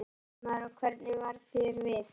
Fréttamaður: Og hvernig varð þér við?